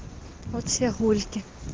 вот все гульки